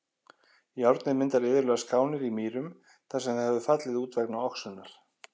Járnið myndar iðulega skánir í mýrum þar sem það hefur fallið út vegna oxunar.